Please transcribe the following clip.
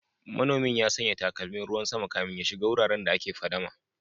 Manomin ya sanya takalmin ruwan sama kafin ya shiga wuraren da ake fadama